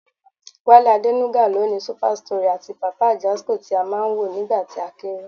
Wálé Adénúgà ló ni Super Story àti Papa Ajasco tí á máa ń wò nígbà tí a kéré